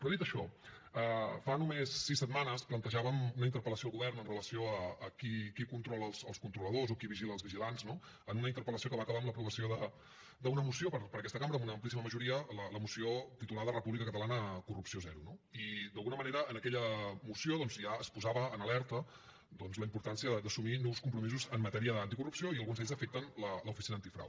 però dit això fa només sis setmanes plantejàvem una interpel·lació al govern amb relació a qui controla els controladors o qui vigila els vigilants no en una interpel·lació que va acabar amb l’aprovació d’una moció per aquesta cambra amb una amplíssima majoria la moció titulada república catalana corrupció zero no i d’alguna manera en aquella moció doncs ja es posava en alerta la importància d’assumir nous compromisos en matèria d’anticorrupció i alguns d’ells afecten l’oficina antifrau